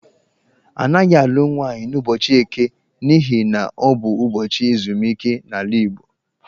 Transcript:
A naghị alụ nwaanyị n'ụbọchị Eke n'ihi na, ọ bụ ubọchị ezumike n'ala Igbo.